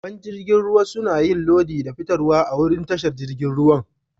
Babban jirigin ruwa suna yin lodi da fitarwa a'wurin tashar jirigin ruwa.